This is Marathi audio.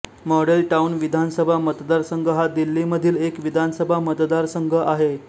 मॉडेल टाउन विधानसभा मतदारसंघ हा दिल्लीमधील एक विधानसभा मतदारसंघ आहे